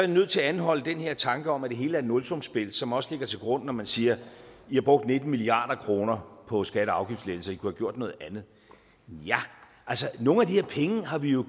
nødt til at anholde den her tanke om at det hele er et nulsumsspil som også ligger til grund når man siger i har brugt nitten milliard kroner på skatte og afgiftslettelser i kunne have gjort noget andet nogle af de her penge har vi jo